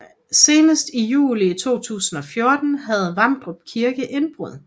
Senest i juli 2014 havde Vamdrup Kirke indbrud